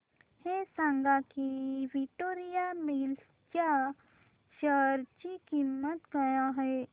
हे सांगा की विक्टोरिया मिल्स च्या शेअर ची किंमत काय आहे